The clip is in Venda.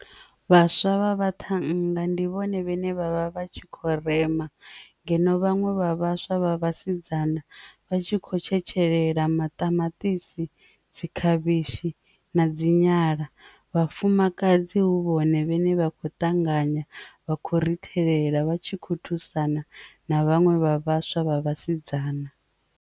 Vhaswa vha vha ṱhannga ndi vhone vhane vha vha vha tshi kho rema ngeno vhaṅwe vha vhaswa vha vhasidzana vha tshi kho tshetshelelwaho maṱamaṱisi dzi khavhishi na dzi nyala, vhafumakadzi hu vhone vhane vha khou ṱanganya vha khou ri thela vha tshi kho thusana na vhaṅwe vha vhaswa vha vhasidzana.